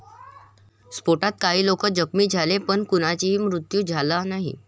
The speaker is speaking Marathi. स्फोटात काही लोक जखमी झाले, पण कुणाचाही मृत्यु झाला नाही.